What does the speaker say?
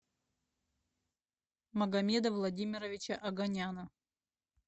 магомеда владимировича оганяна